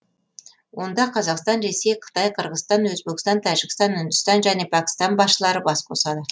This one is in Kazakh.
онда қазақстан ресей қытай қырғызстан өзбекстан тәжікстан үндістан және пәкістан басшылары бас қосады